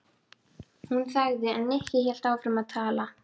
Hún þagði en Nikki hélt áfram að tala.